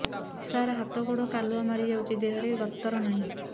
ସାର ହାତ ଗୋଡ଼ କାଲୁଆ ମାରି ଯାଉଛି ଦେହର ଗତର ନାହିଁ